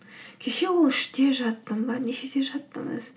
кеше ол үште жаттым ба нешеде жаттым өзі